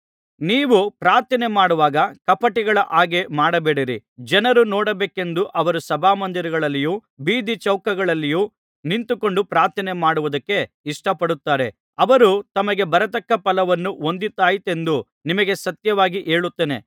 ನೀವು ಪ್ರಾರ್ಥನೆಮಾಡುವಾಗ ಕಪಟಿಗಳ ಹಾಗೆ ಮಾಡಬೇಡಿರಿ ಜನರು ನೋಡಬೇಕೆಂದು ಅವರು ಸಭಾಮಂದಿರಗಳಲ್ಲಿಯೂ ಬೀದಿಚೌಕಗಳಲ್ಲಿಯೂ ನಿಂತುಕೊಂಡು ಪ್ರಾರ್ಥನೆಮಾಡುವುದಕ್ಕೆ ಇಷ್ಟಪಡುತ್ತಾರೆ ಅವರು ತಮಗೆ ಬರತಕ್ಕ ಫಲವನ್ನು ಹೊಂದಿದ್ದಾಯಿತೆಂದು ನಿಮಗೆ ಸತ್ಯವಾಗಿ ಹೇಳುತ್ತೇನೆ